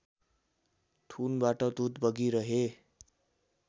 थुनबाट दुध बगिरहे